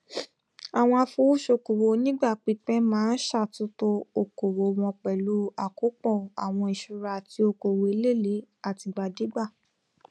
àwọn afowósókowò onígbà pípẹ máa n ṣàtúntò okòwò wọn pẹlú àkópọ àwọn ìṣúra àti okòwò elelee àtìgbàdégbà